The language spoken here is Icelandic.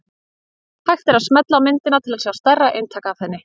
Hægt er að smella á myndina til að sjá stærra eintak af henni.